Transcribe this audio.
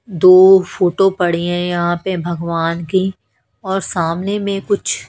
दो फोटो पड़ी हैं यहां पे भगवान की और सामने में कुछ--